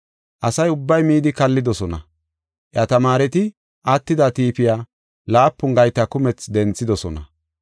Asa ubbay midi kallidosona. Iya tamaareti attida tiifiya laapun gayta kumethi denthidosona.